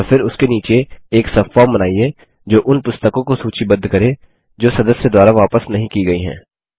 और फिर उसके नीचे एक सबफॉर्म बनाइए जो उन पुस्तकों को सूचीबद्ध करे जो सदस्य द्वारा वापस नहीं की गयी हैं